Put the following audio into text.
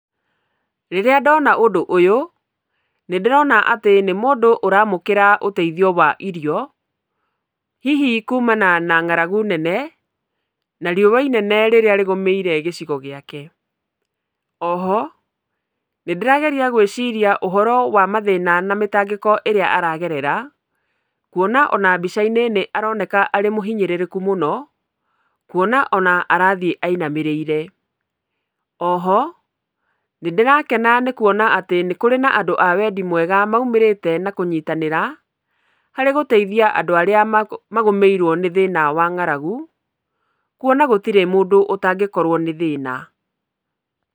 Rĩrĩa ndona ũndũ ũyũ, nĩndĩrona atĩ nĩ mũndũ ũramũkĩra ũteithio wa irio, hihi kumana na ng'aragu nene na riũwa inene rĩrĩa rĩgũmĩire gĩcigo gĩake. Oho, nĩndĩrageria gwĩciria ũhoro wa mathĩna na mĩtangĩko ĩrĩa aragerera kwona ona mbica-inĩ nĩaroneka arĩ mũhinyĩrĩrĩku mũno, kwona ona arathiĩ ainamĩrĩire. Oho nĩndĩrakena nĩ kwona atĩ nĩkũrĩ na andũ a wendi mwega maumĩrĩte na kũnyitanĩra, harĩ gũteithia andũ arĩa magũ, magũmĩirwo nĩ thĩna wa ng'aragu, kwona gũtirĩ mũndũ ũtangĩkorwo nĩ thĩna.